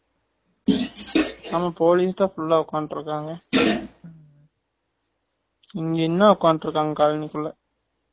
ஆமா police தான் full ஆ உட்காந்துட்டு இருக்காங்க இங்கயும் தான் உட்காந்துட்டு இருக்காங்க colony குள்ள